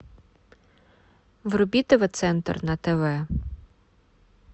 вруби тв центр на тв